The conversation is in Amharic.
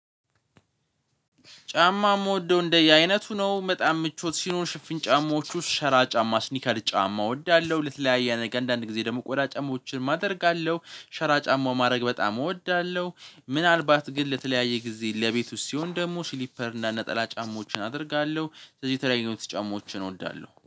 ጫማ የምወደው እንደየአይነቱ ነው በጣም ምቾት ሲኖር ሽፍን ጫማዎች ውስጥ ሸራ ጫማ ስኒከር ጫማ እወዳለሁ። ለተለያየ አንዳንድ ጊዜ ደግሞ ቆዳ ጫማዎችን አደርጋለሁ ሸራ ጫማ ማድረግ በጣም እወዳለሁ። ምናልባት ግን ለተለያየ ጊዜ ለቤት ውስጥ ሲሆን ደግሞ ስሊፐር እና ነጠላ ጫማዎችን አደርጋለሁ። ስለዚህ የተለያዩ ጫማዎችን እወዳለሁ